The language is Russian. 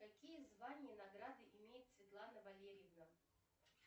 какие звания награды имеет светлана валерьевна